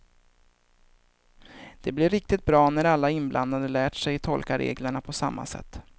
Den blir riktigt bra när alla inblandade lärt sig tolka reglerna på samma sätt.